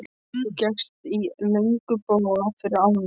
Þú gekkst í löngum boga yfir ána.